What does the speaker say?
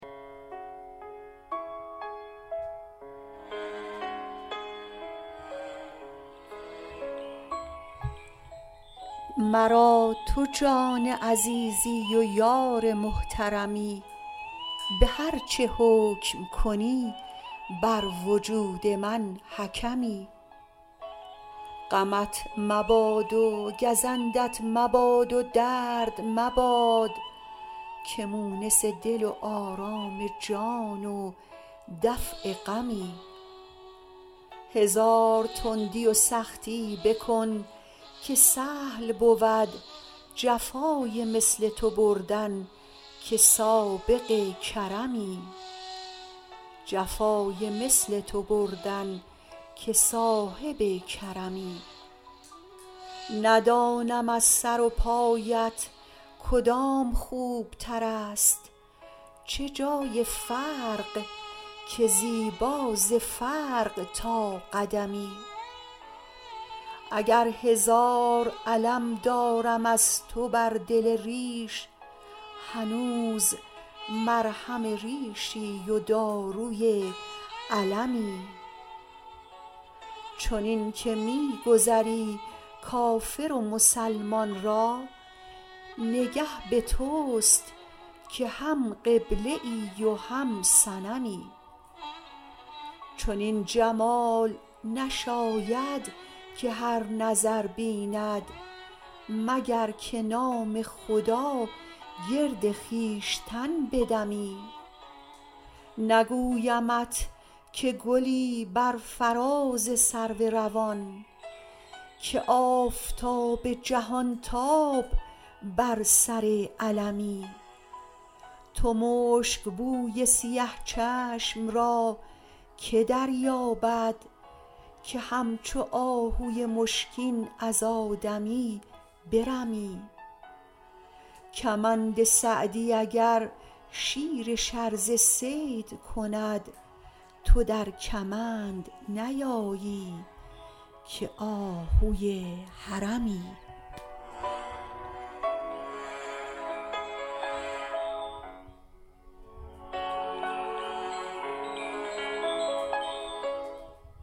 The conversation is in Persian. مرا تو جان عزیزی و یار محترمی به هر چه حکم کنی بر وجود من حکمی غمت مباد و گزندت مباد و درد مباد که مونس دل و آرام جان و دفع غمی هزار تندی و سختی بکن که سهل بود جفای مثل تو بردن که سابق کرمی ندانم از سر و پایت کدام خوبتر است چه جای فرق که زیبا ز فرق تا قدمی اگر هزار الم دارم از تو بر دل ریش هنوز مرهم ریشی و داروی المی چنین که می گذری کافر و مسلمان را نگه به توست که هم قبله ای و هم صنمی چنین جمال نشاید که هر نظر بیند مگر که نام خدا گرد خویشتن بدمی نگویمت که گلی بر فراز سرو روان که آفتاب جهانتاب بر سر علمی تو مشکبوی سیه چشم را که دریابد که همچو آهوی مشکین از آدمی برمی کمند سعدی اگر شیر شرزه صید کند تو در کمند نیایی که آهوی حرمی